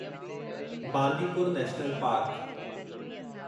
Bandipur national park